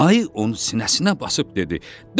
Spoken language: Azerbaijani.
Ayı onu sinəsinə basıb dedi: